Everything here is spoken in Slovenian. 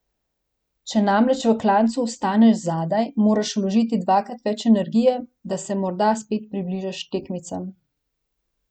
Če namreč v klancu ostaneš zadaj, moraš vložiti dvakrat več energije, da se morda spet približaš tekmicam.